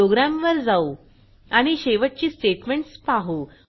प्रोग्रॅमवर जाऊ आणि शेवटची स्टेटमेंट्स पाहू